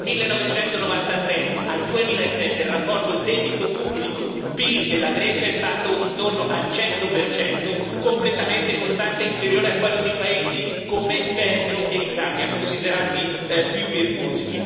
Dal 1993 al 2007 il rapporto debito pubblico PIL della Grecia è stato intorno al 100 completamente costante e inferiore a quello di paesi come Belgio e Italia, considerati più virtuosi.